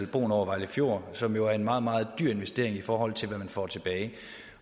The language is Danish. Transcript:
broen over vejle fjord som jo er en meget meget dyr investering i forhold til hvad man får tilbage